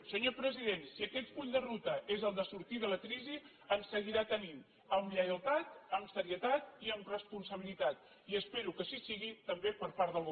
senyor president si aquest full de ruta és el de sortir de la crisi ens seguirà tenint amb lleialtat amb serietat i amb responsabilitat i espero que així sigui també per part del govern